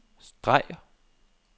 streg